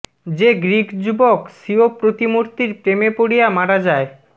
যে গ্রীক যুবক স্বীয় প্রতিমূর্তির প্রেমে পড়িয়া মারা যায়